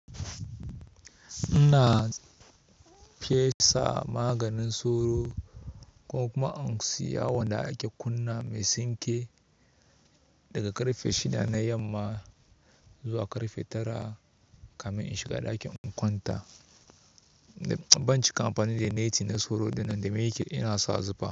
Ina fesa maganin soro ko kuma in siya wanda ake kunna mai sinke daga karfe shida na yamma zuwa karfe tara kamin in shiga ɗakin in kwanta. Bancika amfani da net na soro ɗinnan domin yana sa zufa.